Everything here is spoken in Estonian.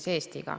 Aitäh teile!